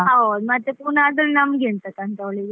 ಹೌದ್, ಮತ್ತೆ ಪುನಃ ಅದ್ರಲ್ಲಿ ನಮಗೆ ಎಂತಕ್ಕಂತೆ ಅವಳಿಗೆ.